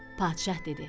Padşah dedi: